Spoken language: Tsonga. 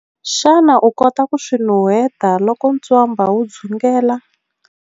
Xana u kota ku swi nuheta loko ntswamba wu dzungela?